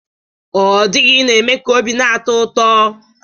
Ọdịghị na-eme ka obi na-atọ ụtọ